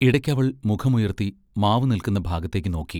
ഇടയ്ക്ക് അവൾ മുഖമുയർത്തി മാവു നില്ക്കുന്ന ഭാഗത്തേക്കു നോക്കി.